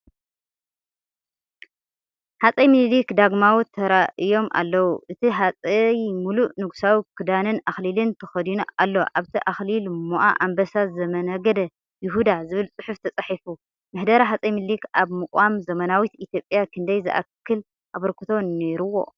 ሃጸይ ሚኒሊክ ዳግማዊ ተራእዮም ኣለው፣ እቲ ሃጸይ ምሉእ ንጉሳዊ ክዳንን ኣኽሊልን ተኸዲኑ ኣሎ። ኣብቲ ኣኽሊል "ሞኣ ኣንበሳ ዘምነገደ ይሁዳ" ዝብል ጽሑፍ ተጻሒፉ ፣ምሕደራ ሃጸይ ሚኒሊክ ኣብ ምቛም ዘመናዊት ኢትዮጵያ ክንደይ ዝኣክል ኣበርክቶ ነይርዎ?